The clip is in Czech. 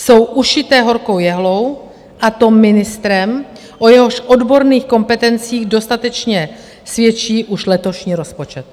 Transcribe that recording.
Jsou ušité horkou jehlou, a to ministrem, o jehož odborných kompetencích dostatečně svědčí už letošní rozpočet.